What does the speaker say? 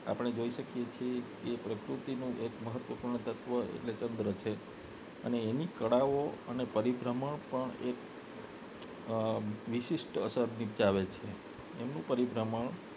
આપને જોઈ શકીએ છે પ્રકૃતિનું એક મહત્વપૂર્ણ તત્વ એટલે કે ચંદ્ર છે એની કળાઓ અને પરિભ્રમણ પણ એક વિશેષ અસર નિપજાવે છે એનું પરિભ્રમણ